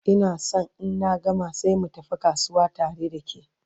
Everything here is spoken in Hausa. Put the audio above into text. Ina San in na gama sai mu tafi kasuwa tare da ke